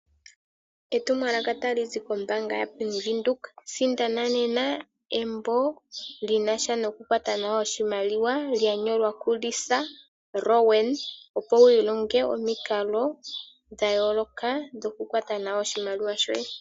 Etumwalaka tali zi kombaanga yaBank Windhoek, sindana nena embo lyinasha noku kwata nawa oshimaliwa, lya nyolwa kuLisa Rowan, opo wu ilonge omikalo dha yooloka dhoku kwata nawa oshimaliwa shoye.